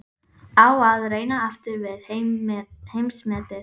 Á að reyna aftur við heimsmetið?